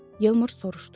Yalmar soruşdu.